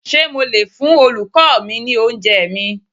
Ṣé mo lè fún Olùkọ́ọ mi ní oúnjẹẹ̀ mi?